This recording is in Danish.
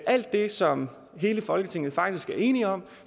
alt det som hele folketinget faktisk er enige om